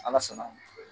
Ala sɔnna